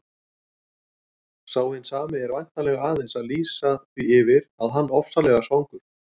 Sá hinn sami er væntanlega aðeins að lýsa því yfir að hann ofsalega svangur.